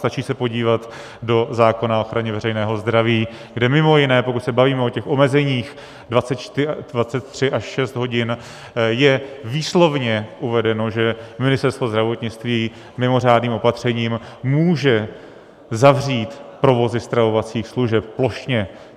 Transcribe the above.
Stačí se podívat do zákona o ochraně veřejného zdraví, kde mimo jiné pokud se bavíme o těch omezeních 23 až 6 hodin, je výslovně uvedeno, že Ministerstvo zdravotnictví mimořádným opatřením může zavřít provozy stravovacích služeb plošně.